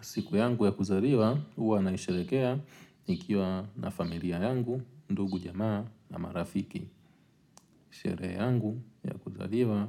Siku yangu ya kuzaliwa, uwa naisherekea nikiwa na familia yangu, ndugu jamaa na marafiki. Shere yangu ya kuzaliwa,